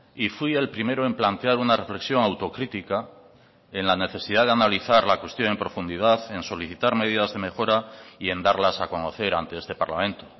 y fui el primero en plantear una reflexión autocrítica en la necesidad de analizar la cuestión en profundidad en solicitar medidas de mejora y en darlas a conocer ante este parlamento